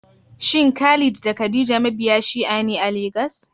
Shin Khalid da Khadija mabiya Shi'a ne a Legas?